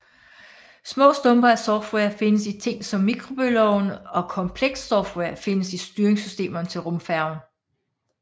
Små stumper af software findes i ting som mikrobølgeovne og komplekst software findes i styringssystemerne til rumfærgen